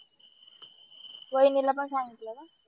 वहिणीला पण सांगितलं ना